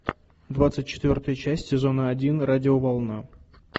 двадцать четвертая часть сезона один радиоволна